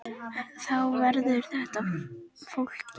Þá verður þetta flókið.